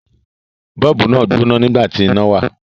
Bọ́ọ̀bù náà gbóná nígbà tí iná wà.